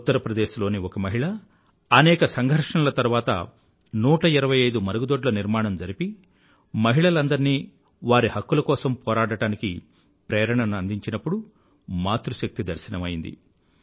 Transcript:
ఉత్తర్ ప్రదేశ్ లోని ఒక మహిళ అనేక సంఘర్షణల తరువాత 125మరుగుదోడ్ల నిర్మాణం జరిపి మహిళలందరినీ వారి హక్కుల కోసం పోరాడడానికి ప్రేరణను అందించినప్పుడు మాతృశక్తి దర్శనం అయ్యింది